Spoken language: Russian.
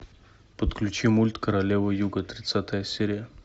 подключи мульт королева юга тридцатая серия